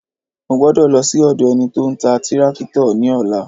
Mo gbọ́dọ̀ lọ sí ọ̀dọ̀ ẹni tí ó ń ta tírákítọ̀ ní ọ̀la